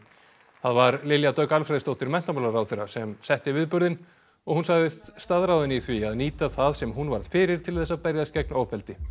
það var Lilja Dögg Alfreðsdóttir menntamálaráðherra sem setti viðburðinn og hún sagðist staðráðin í því að nýta það sem hún varð fyrir til þess að berjast gegn ofbeldi